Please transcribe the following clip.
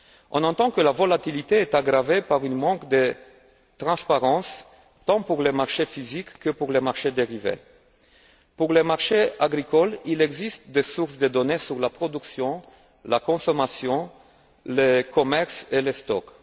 On entend que la volatilité est aggravée par un manque de transparence tant pour les marchés physiques que pour les marchés dérivés. Pour les marchés agricoles, il existe des sources de données sur la production, la consommation, le commerce et les stocks.